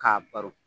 K'a baro